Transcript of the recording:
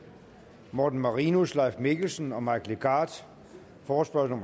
morten marinus leif mikkelsen og mike legarth forespørgsel